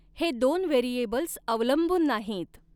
हे दोन व्हेरिऐबल्स अवलंबून नाहीत.